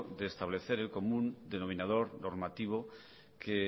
de establecer el común denominador normativo que